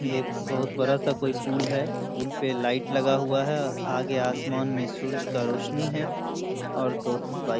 ये एक बहुत बड़ा सा कोई पुल है। पुल पे लाइट लगा हुआ है। आगे आसमान में सूरज का रोशनी है और दो बाइक --